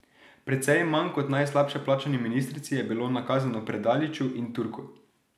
Precej manj kot najslabše plačani ministrici je bilo nakazano Predaliču in Turku.